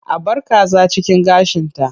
A bar kaza cikin gashinta.